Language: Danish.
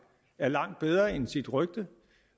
er langt bedre end sit rygte